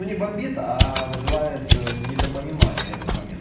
ну не бомбит вызывает недопонимание этот момент